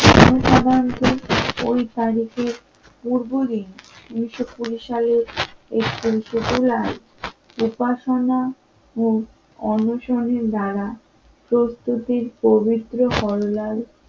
ওই তারিখে পূর্ব দিন উন্নিশ নব্বই সালের এপ্রিল তুলার উপাসনা ও অনশনের দ্বারা প্রস্তুতির পবিত্র হরলাল